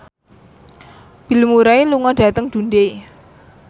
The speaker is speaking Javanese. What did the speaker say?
Bill Murray lunga dhateng Dundee